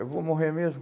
Eu vou morrer mesmo.